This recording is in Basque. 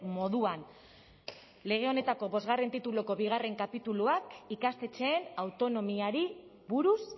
moduan lege honetako bostgarren tituluko bigarren kapituluak ikastetxeen autonomiari buruz